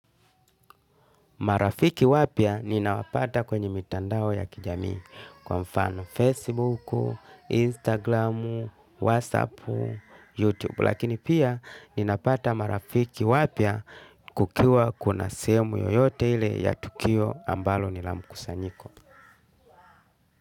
Marafiki wapya ninawapata kwenye mitandao ya kijamii kwa mfano Facebook, Instagram, Whatsapp, Youtube. Lakini pia ninapata marafiki wapya kukiwa kuna sehemu yoyote ile ya tukio ambalo nilamkusanyiko.